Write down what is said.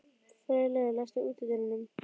Freyleif, læstu útidyrunum.